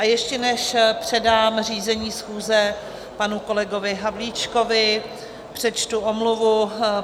A ještě než předám řízení schůze panu kolegovi Havlíčkovi, přečtu omluvu.